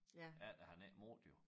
Ellers havde han ikke noget jo